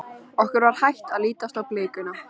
Okkur var hætt að lítast á blikuna.